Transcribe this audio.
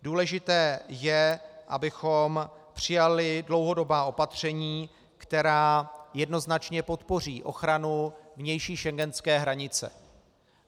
Důležité je, abychom přijali dlouhodobě opatření, která jednoznačně podpoří ochranu vnější schengenské hranice.